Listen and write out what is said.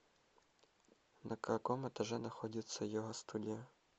на каком этаже находится йога студия